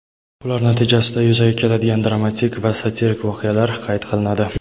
ular natijasida yuzaga keladigan dramatik va satirik voqealar qayd qilinadi.